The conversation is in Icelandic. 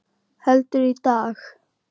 Heldur, í dag!